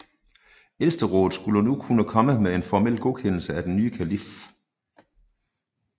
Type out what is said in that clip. Ældsterådet skulle nu kun komme med en formel godkendelse af den nye kalif